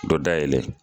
Dɔ dayɛlɛ